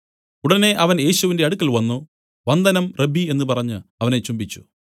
ഉടനെ അവൻ യേശുവിന്റെ അടുക്കൽ വന്നു വന്ദനം റബ്ബീ എന്നു പറഞ്ഞു അവനെ ചുംബിച്ചു